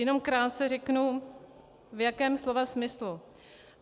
Jenom krátce řeknu, v jakém slova smyslu.